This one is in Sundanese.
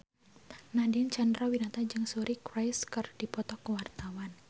Nadine Chandrawinata jeung Suri Cruise keur dipoto ku wartawan